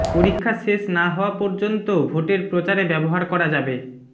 পরীক্ষা শেষ না হওয়া পর্যন্ত ভোটের প্রচারে ব্যবহার করা যাবে